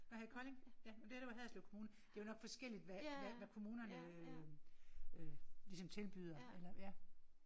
Nåh her i Kolding? Ja men det her det var Haderslev kommune. Det jo nok forskelligt hvad hvad hvad kommunerne øh ligesom tilbyder eller ja